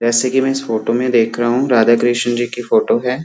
जैसे की मैं इस फोटो में देख रहा हूँ राधा कृष्ण जी की फोटो है।